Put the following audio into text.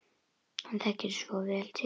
Hann þekkir svo vel til.